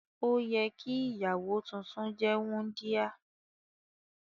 Òyẹ ki ìyàwó tuntun jẹ wundia.